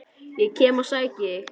Ég kem og sæki þig!